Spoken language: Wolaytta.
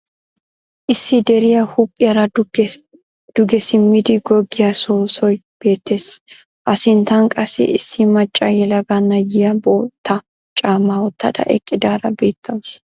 Issi deriya huuphiyaara duge simmidi goggiya soossoy beettes. A sinttan qassi issi macca yelaga na'iya bootta caammaa wottada eqqidaara beettawusu.